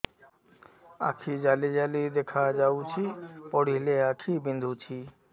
ଆଖି ଜାଲି ଜାଲି ଦେଖାଯାଉଛି ପଢିଲେ ଆଖି ବିନ୍ଧୁଛି